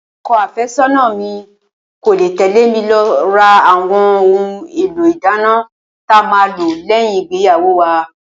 O̩ko̩ àfé̩só̩nà mi kò ní lè tè̩lé mi lo̩ ra àwo̩n ohun èlò ìdáná ta máa nílò lé̩yìn ìgbéyàwó wa